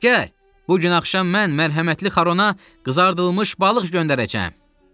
Gəl! Bu gün axşam mən mərhəmətli Xarona qızardılmış balıq göndərəcəm.